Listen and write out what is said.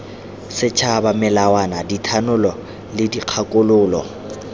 setšhaba melawana dithanolo le dikgakololo